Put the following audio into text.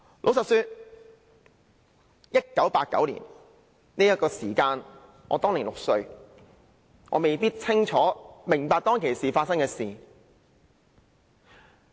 老實說 ，1989 年我只有6歲，未必清楚明白當時發生的事情。